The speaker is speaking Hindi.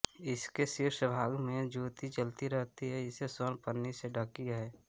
इसके शीर्ष भाग में ज्योति जलती रहती है जो स्वर्ण पन्नी से ढकी है